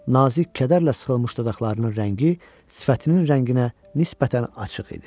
Nazik kədərlə sıxılmış dodaqlarının rəngi sifətinin rənginə nisbətən açıq idi.